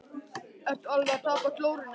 Ertu alveg að tapa glórunni eða hvað!